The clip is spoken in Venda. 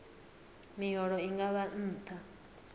miholo i nga vha nṱha